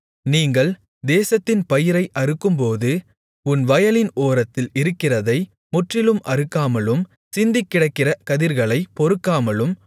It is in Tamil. நீங்கள் தேசத்தின் பயிரை அறுக்கும்போது உன் வயலின் ஓரத்தில் இருக்கிறதை முற்றிலும் அறுக்காமலும் சிந்திக்கிடக்கிற கதிர்களைப் பொறுக்காமலும்